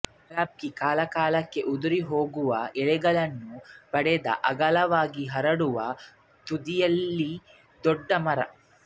ಕಲ್ಬಾಗಿ ಕಾಲಕಾಲಕ್ಕೆ ಉದುರಿ ಹೋಗುವ ಎಲೆಗಳನ್ನು ಪಡೆದ ಅಗಲವಾಗಿ ಹರಡುವ ತುದಿಯುಳ್ಳ ದೊಡ್ಡ ಮರ